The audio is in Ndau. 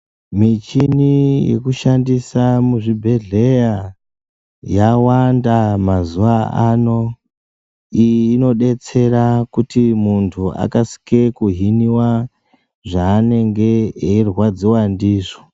Muchini yekushandisa zvebhehleya yawanda mazuwa ano. Iyi inodetsera kuti muntu akasike kuhiniwa zvaanenge eyirwadziwa ndizvo.